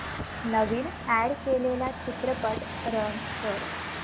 नवीन add केलेला चित्रपट run कर